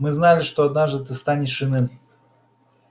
мы знали что однажды ты станешь иным